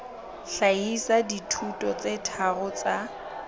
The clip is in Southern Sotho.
hlahisa dithuto tse tharo tsa